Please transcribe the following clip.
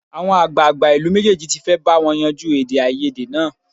Àwọn àgbààgbà ìlú méjèèjì tí fẹ́ bá wọn yanjú èdèàìyedè náà